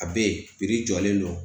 A bɛ ye jɔlen don